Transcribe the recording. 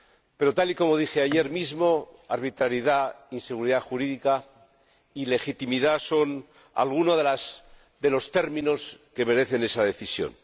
Pero, tal y como dije ayer mismo, arbitrariedad, inseguridad jurídica e ilegitimidad son algunos de los términos que merecen esa decisión.